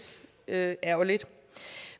ærgerligt